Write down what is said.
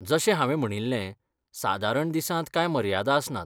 जशें हांवें म्हणिल्लें, सादरण दिसांत कांय मर्यादा आसनात.